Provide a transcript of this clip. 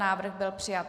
Návrh byl přijat.